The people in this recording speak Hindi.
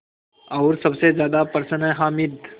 और सबसे ज़्यादा प्रसन्न है हामिद